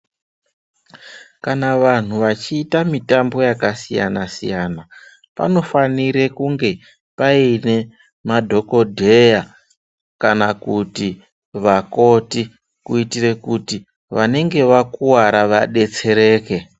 Kana vanhu vachiita mitambo yakasiyana siyana, panofanire kunge pane madhokodheya kana kuti vakoti kuitire kuti vanenge vakuwara vadetsereke.